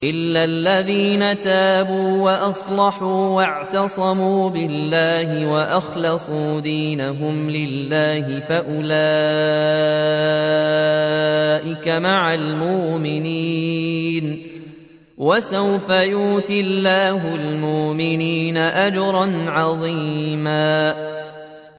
إِلَّا الَّذِينَ تَابُوا وَأَصْلَحُوا وَاعْتَصَمُوا بِاللَّهِ وَأَخْلَصُوا دِينَهُمْ لِلَّهِ فَأُولَٰئِكَ مَعَ الْمُؤْمِنِينَ ۖ وَسَوْفَ يُؤْتِ اللَّهُ الْمُؤْمِنِينَ أَجْرًا عَظِيمًا